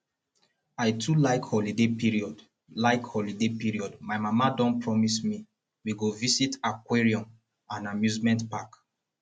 i too like holiday period like holiday period my mama don promise me we go visit aquarium and amusement park